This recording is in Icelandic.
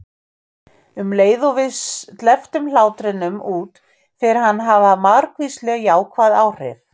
Um leið og við sleppum hlátrinum út fer hann að hafa margvísleg jákvæð áhrif.